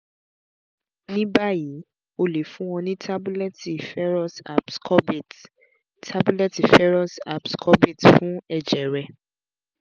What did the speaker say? nibayi o le fun ọ ni tabulẹti ferrous ascorbate tabulẹti ferrous ascorbate fun ẹjẹ rẹ